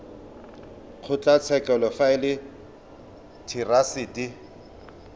kgotlatshekelo fa e le therasete